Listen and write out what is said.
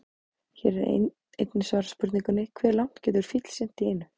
Hér er einnig svarað spurningunni: Hve langt getur fíll synt í einu?